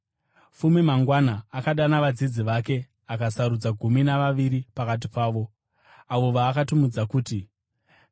Fume mangwana, akadana vadzidzi vake akasarudza gumi navaviri pakati pavo, avo vaakatumidza kuti vapostori: